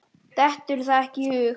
Dettur það ekki í hug.